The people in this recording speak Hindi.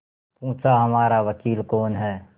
पूछाहमारा वकील कौन है